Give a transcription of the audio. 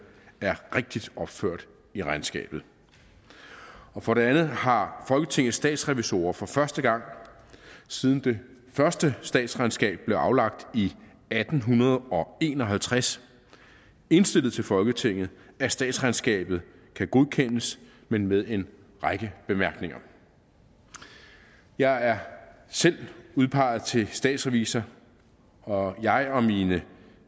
er rigtigt opført i regnskabet for det andet har folketingets statsrevisorer for første gang siden det første statsregnskab blev aflagt i atten en og halvtreds indstillet til folketinget at statsregnskabet kan godkendes men med en række bemærkninger jeg er selv udpeget til statsrevisor og jeg og mine